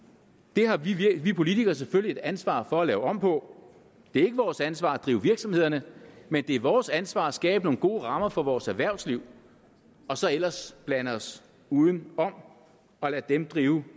det har vi politikere selvfølgelig et ansvar for at lave om på det er ikke vores ansvar at drive virksomhederne men det er vores ansvar at skabe nogle gode rammer for vores erhvervsliv og så ellers blande os udenom og lade dem drive